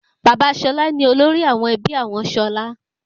Bàbá Ṣọlá ni olórí ẹbí àwọn Ṣọlá.